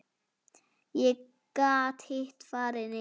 Þá gat hitt farið niður.